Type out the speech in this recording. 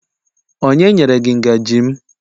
onye nyere gi ngaji m?